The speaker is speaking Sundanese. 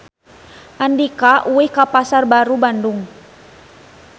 Andika ulin ka Pasar Baru Bandung